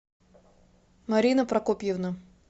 марина прокопьевна